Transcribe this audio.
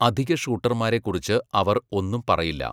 അധിക ഷൂട്ടർമാരെ കുറിച്ച് അവർ ഒന്നും പറയില്ല.